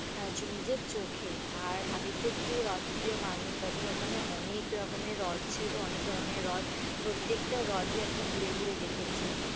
আহ হচ্ছে নিজের চোখে আর আমি তো একটু হ্রদপ্রিয় মানুষ, তাদের ওখানে অনেক রকমের হ্রদ ছিল অনেক ধরণের হ্রদ, প্রত্যেকটা হ্রদই আর কি ঘুরে ঘুরে দেখেছি।